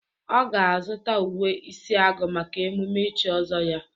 Ọ ga-azụta uwe isi agu maka emume ichi ọzọ ya.